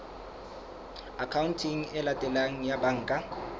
akhaonteng e latelang ya banka